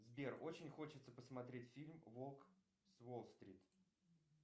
сбер очень хочется посмотреть фильм волк с уолл стрит